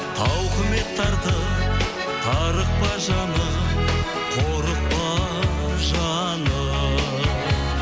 тауқымет тартып тарықпа жаным қорықпа жаным